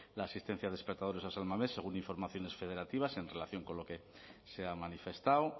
la asistencia de espectadores a san mamés según informaciones federativas en relación con lo que se ha manifestado